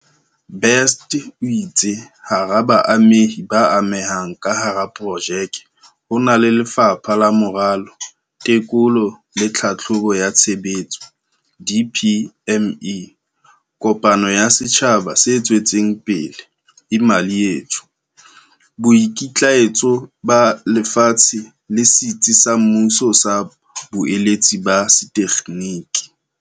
Best o itse hara baamehi ba amehang ka hara projeke ho na le Lefapha la Moralo, Teko lo le Tlhahlobo ya Tshebetso, DPME, kopano ya setjhaba se tswetseng pele Imali Yethu, Boikitlaetso ba Lefatshe le Setsi sa Mmuso sa Boeletsi ba Setekgeniki.